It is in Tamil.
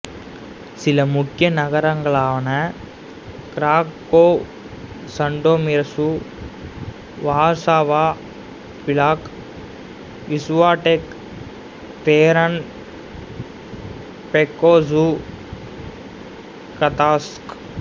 சில முக்கிய நகரங்களாவன கிராக்கோவ் சன்டோமீர்சு வார்சாவா பிளாக் விசுவாவெக் தோருன் பைட்கோசுசு கதான்ஸ்க்